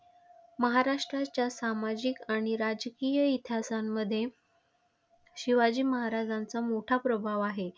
महाराष्ट्राच्या सामाजिक आणि राजकीय इतिहासांमध्ये शिवाजी महाराजांचा मोठा प्रभाव आहे.